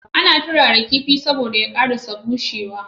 Ana turara kifi saboda ya karasa bushe wa